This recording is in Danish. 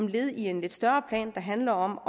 led i en lidt større plan der handler om